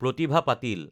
Pratibha Patil